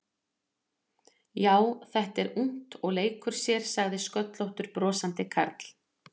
Já, þetta er ungt og leikur sér sagði sköllóttur brosandi karl.